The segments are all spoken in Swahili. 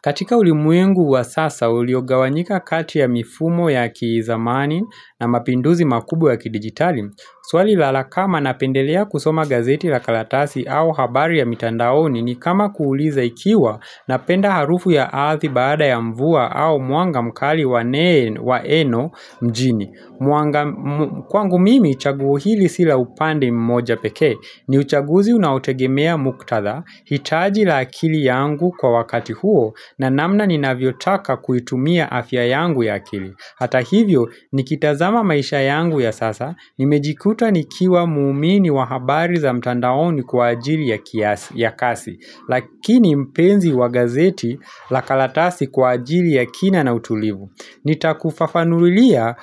Katika ulimwengu wa sasa, uliogawanyika kati ya mifumo ya kizamani na mapinduzi makubwa ya kidijitali. Swali la kama napendelea kusoma gazeti la karatasi au habari ya mitandaoni ni kama kuuliza ikiwa napenda harufu ya ardhi baada ya mvua au mwanga mkali wa eno mjini. Kwangu mimi chaguo hili si la upande mmoja pekee ni uchaguzi unaotegemea muktadha, hitaji la akili yangu kwa wakati huo na namna ninavyotaka kuitumia afya yangu ya akili. Hata hivyo, nikitazama maisha yangu ya sasa Nimejikuta nikiwa muumini wa habari za mtandaoni kwa ajili ya kazi Lakini mpenzi wa gazeti la karatasi kwa ajili ya kina na utulivu. Nitakufafanulia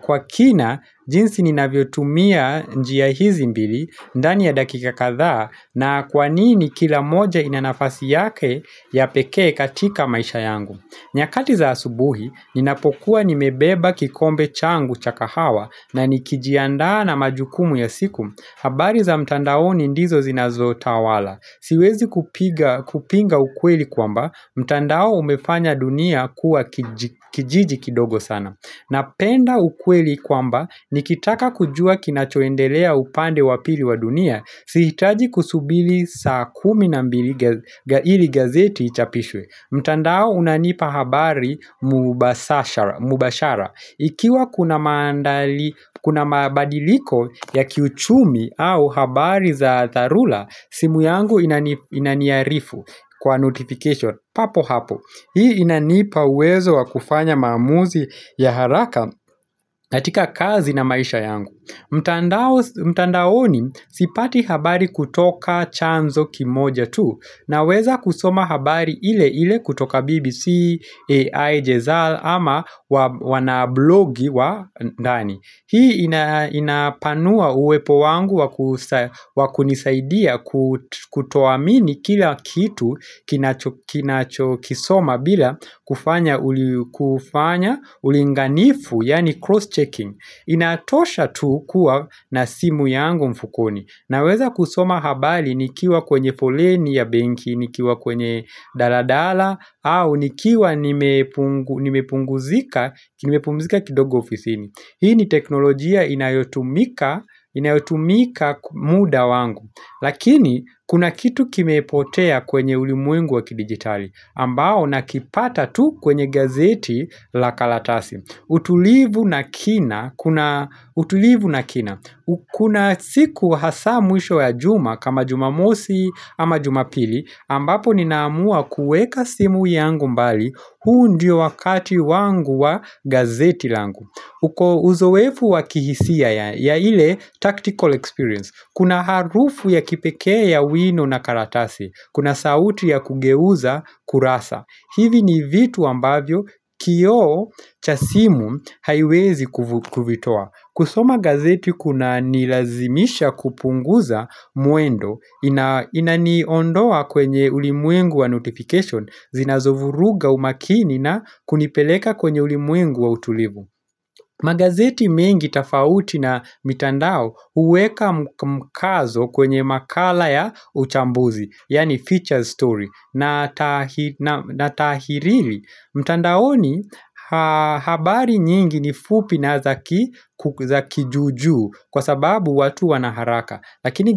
kwa kina jinsi ninavyotumia njia hizi mbili ndani ya dakika kadhaa na kwa nini kila moja ina nafasi yake ya pekee katika maisha yangu. Nyakati za asubuhi, ninapokuwa nimebeba kikombe changu cha kahawa na nikijiaandaa na majukumu ya siku, habari za mtandaoni ndizo zinazotawala Siwezi kupinga ukweli kwamba mtandao umefanya dunia kuwa kijiji kidogo sana Napenda ukweli kwamba nikitaka kujua kinachoendelea upande wa pili wa dunia, sihitaji kusubiri saa kumi na mbili ili gazeti ichapishwe. Mtandao unanipa habari mubashara Ikiwa kuna maandali kuna mabadiliko ya kiuchumi au habari za dharula simu yangu inaniarifu kwa notification papo hapo Hii inanipa uwezo wa kufanya maamuzi ya haraka katika kazi na maisha yangu. Mtandao mtandaoni sipati habari kutoka chanzo kimoja tu, naweza kusoma habari ile ile kutoka BBC Al Jazeera ama wana blogi wa ndani. Hii inapanua uwepo wangu wakunisaidia kutoamini kila kitu kisoma bila kufanya ulinganifu yaani cross checking. Inatosha tu kuwa na simu yangu mfukoni. Naweza kusoma habari nikiwa kwenye poleni ya benki, nikiwa kwenye daladala au nikiwa nimepumzika kidogo ofisini. Hii ni teknolojia inayotumika muda wangu, lakini kuna kitu kimepotea kwenye ulimwengu wakidijitali, ambao nakipata tu kwenye gazeti la karatasi. Utulivu na kina, kuna siku hasa mwisho ya juma kama jumamosi ama jumapili, ambapo ninaamua kueka simu yangu mbali huu ndio wakati wangu wa gazeti langu. Kwa uzoefu wa kihisia ya ile tactical experience. Kuna harufu ya kipekee ya wino na karatasi. Kuna sauti ya kugeuza kurasa. Hivi ni vitu ambavyo kioo cha simu haiwezi kuvitoa. Kusoma gazeti kuna nilazimisha kupunguza muendo. Inaniondoa kwenye ulimwengu wa notification. Zinazovuruga umakini na kunipeleka kwenye ulimwengu wa utulivu. Magazeti mengi tofauti na mitandao uweka mkazo kwenye makala ya uchambuzi, yaani feature story, na taahirili. Mtandaoni habari nyingi ni fupi na za kijuujuu kwa sababu watu wanaharaka, lakini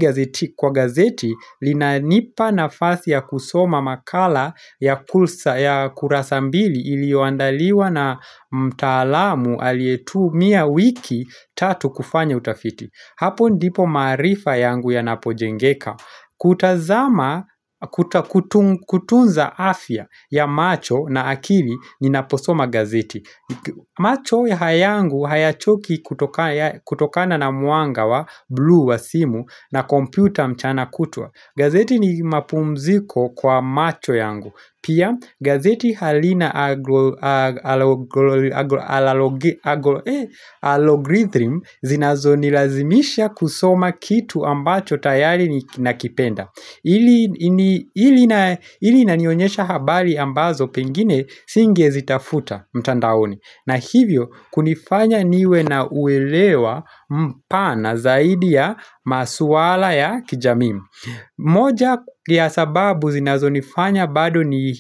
kwa gazeti linanipa nafasi ya kusoma makala ya ya kurasa mbili iliyoandaliwa na mtaalamu aliyetumia wiki tatu kufanya utafiti. Hapo ndipo maarifa yangu yanapojengeka. Kutunza afya ya macho na akili ninaposoma gazeti. Macho haya yangu hayachoki kutokana na mwanga wa blue wa simu na kompyuta mchana kutwa. Gazeti ni mapumziko kwa macho yangu. Pia gazeti halina algorithm zinazonilazimisha kusoma kitu ambacho tayari nakipenda. Hii inanionyesha habari ambazo pengine singezitafuta mtandaoni. Na hivyo kunifanya niwe na uelewa mpana zaidi ya maswala ya kijamii moja ya sababu zinazo nifanya bado ni.